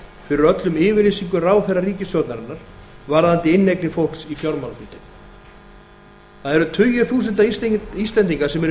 fyrir öllum yfirlýsingum ráðherra ríkisstjórnarinnar varðandi inneignir fólks í fjár það eru tugir þúsunda íslendinga sem eru í